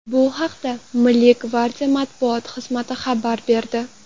Bu haqda Milliy gvardiya matbuot xizmati xabar berdi .